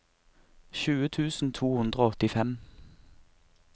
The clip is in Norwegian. tjue tusen to hundre og åttifem